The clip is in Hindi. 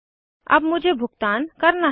अब मुझे भुगतान करना है